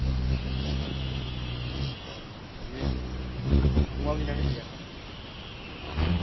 দিয়ে ঘুমাবিনা নাকি এখন